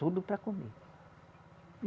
Tudo para comer.